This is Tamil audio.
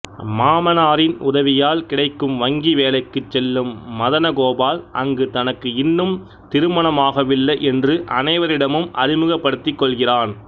மாமனாரின் உதவியால் கிடைக்கும் வங்கி வேலைக்குச் செல்லும் மதனகோபால் அங்கு தனக்கு இன்னும் திருமணமாகவில்லை என்று அனைவரிடமும் அறிமுகப்படுத்திக் கொள்கிறான்